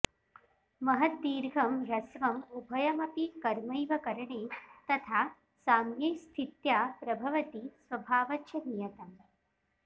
महद्दीर्घं हस्वं उभयमपि कर्मैव करणे तथा साम्ये स्थित्या प्रभवति स्वभावाच्च नियतम्